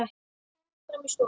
Komum fram í stofu.